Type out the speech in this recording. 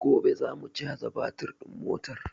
Gobe za mu caja batir din motar